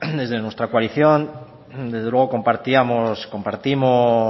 desde nuestra coalición desde luego compartíamos y compartimos